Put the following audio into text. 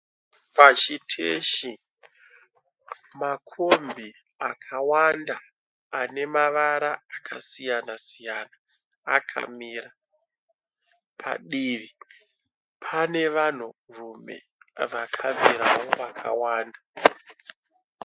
Pachiteshi, makombi akawanda anemavara akasiyana siyana akamira. Padivi pane vanhurume vakagara vakawanda.